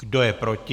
Kdo je proti?